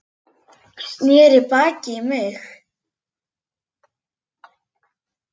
Sneri baki í mig.